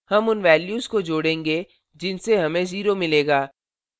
हम उन values को जोड़ेंगे जिनसे हमें 0 मिलेगा